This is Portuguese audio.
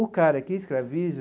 O cara que escraviza